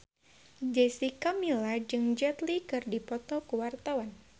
Jessica Milla jeung Jet Li keur dipoto ku wartawan